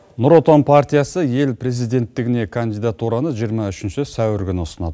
нұр отан партиясы ел президенттігіне кандидатураны жиырма үшінші сәуір күні ұсынады